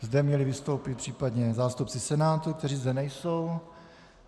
Zde měli vystoupit případně zástupci Senátu, kteří zde nejsou.